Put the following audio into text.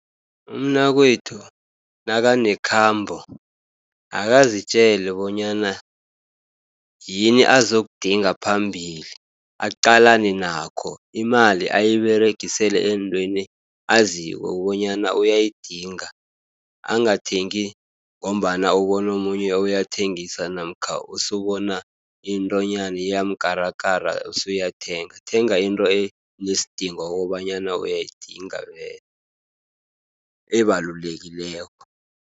Umnakwethu nakanekhambo, akazitjele bonyana yini azokudinga phambili, aqalane nakho. Imali ayiberegisele eentweni aziko bonyana uyayidinga. Angathengi ngombana ubono omunye uyathengisa, namkha usubona iintwanyana iyamkarakara usuyathenga. Thenga into enesidingo wokobanyana uyayidinga vele ebalulekileko.